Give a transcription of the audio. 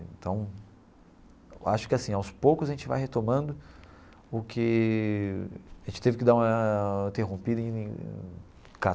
Então, eu acho que assim, aos poucos a gente vai retomando o que a gente teve que dar uma interrompida em